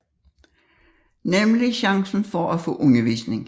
Nemlig chancen for at få undervisning